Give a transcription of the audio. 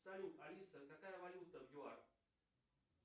салют алиса какая валюта в юар